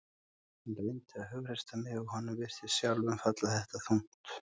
Hann reyndi að hughreysta mig og honum virtist sjálfum falla þetta þungt.